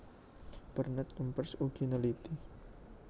Bernet Kempers ugi neliti